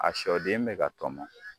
A sɔ den bɛ ka tɔmɔ.